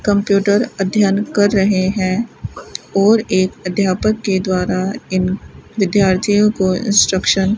computer अध्ययन कर रहे हैं और एक अध्यापक के द्वारा इन विद्यार्थियों को इंस्ट्रक्शन --